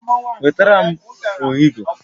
Wetara m ọhịgọ